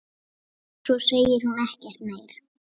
Svo segir hún ekkert meir.